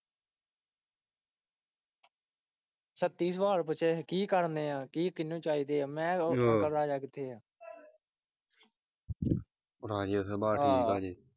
ਛੱਤੀ ਸਵਾਲ ਪੁੱਛੇ ਕੀ ਕਰਨ ਡੇਆ ਕੀ ਕਿਹਨੂੰ ਚਾਹੀਦੇ ਆ ਮੈਂ ਆਹੋ।